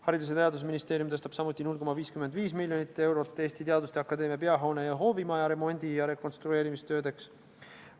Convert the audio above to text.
Haridus- ja Teadusministeerium tõstab samuti 0,55 miljonit eurot Eesti Teaduste Akadeemia peahoone ja hoovimaja remondi- ja rekonstrueerimistöödeks.